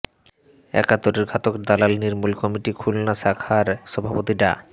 একাত্তরের ঘাতক দালাল নির্মূল কমিটি খুলনা শাখার সভাপতি ডা